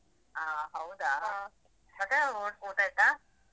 ಹ ಹೌದಾ ಮತ್ತೆ ಊಟ ಆಯ್ತಾ?